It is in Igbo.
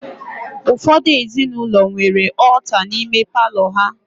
Ụfọdụ ezinụlọ nwere ọọta n'ime palọ ha